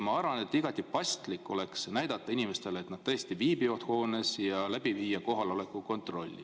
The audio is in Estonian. Ma arvan, et igati paslik oleks näidata inimestele, et nad tõesti viibivad hoones, ja viia läbi kohaloleku kontroll.